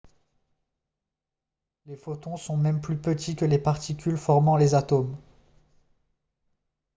les photons sont même plus petits que les particules formant les atomes !